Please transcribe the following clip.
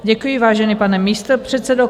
Děkuji, vážený pane místopředsedo.